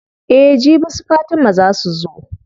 Eh jibi su fatima zaa su zo.